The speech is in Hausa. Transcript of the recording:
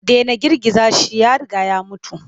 Dena girgiza shi ya riga ya mutu.